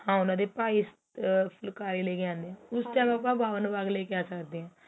ਹਾਂ ਉਹਨਾ ਦੇ ਭਾਈ ਅਹ ਫੁੱਲਕਾਰੀ ਲੈਕੇ ਆਉਦੇ ਏ ਉਸ time ਆਪਾ